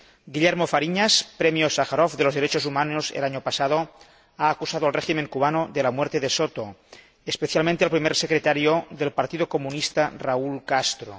Guillermo Fariñas, Premio Sájarov de los Derechos Humanos el año pasado, ha acusado al régimen cubano de la muerte de Juan Soto, especialmente al primer secretario del Partido Comunista, Raúl Castro.